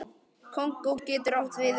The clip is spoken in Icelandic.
Kongó getur átt við um